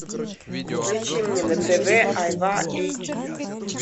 включи мне на тв айва эйч ди